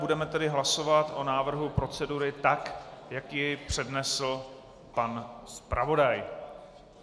Budeme tedy hlasovat o návrhu procedury tak, jak ji přednesl pan zpravodaj.